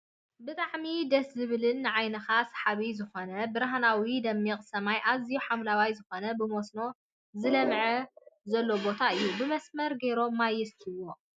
ብጣዕሚ ደስ ዝብልን ንዓይንካ ስሓቢ ዝኮነ ብርሃናዊ ደሚቅ ሰማይ ኣዝዩ ሓምለዋይ ዝኮነ ብመስኖ ዝለምዕ ዘሎ ቦታ እዩ። ብመስመር ገይሮም ማይ የስትይዎ።